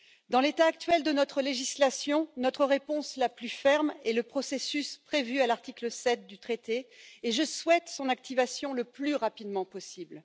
Dans l'état actuel de notre législation, notre réponse la plus ferme est le processus prévu à l'article 7 du traité et je souhaite son activation le plus rapidement possible.